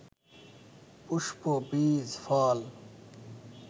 পুষ্প, বীজ, ফল